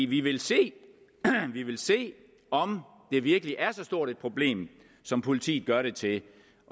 vi vil se se om det virkelig er så stort et problem som politiet gør det til